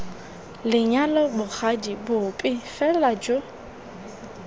lenyalo bogadi bope fela jo